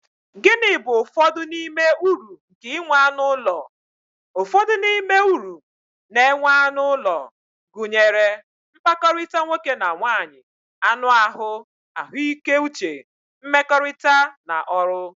Gịnị bụ ụfọdụ n'ime uru nke inwe anụ ụlọ? Ụfọdụ n'ime uru na-enwe anụ ụlọ, gụnyere, mkpakọrịta nwoke na nwaanyị, anụ ahụ, ahụike uche, nmekorita, na ọrụ.